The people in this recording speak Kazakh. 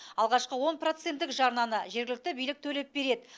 алғашқы он проценттік жарнаны жергілікті билік төлеп береді